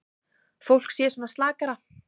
Fólk sé svona slakara.